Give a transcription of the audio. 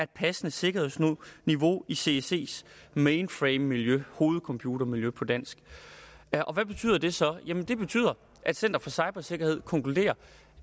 passende sikkerhedsniveau i cscs mainframemiljø hovedcomputermiljø på dansk hvad betyder det så det betyder at center for cybersikkerhed konkluderer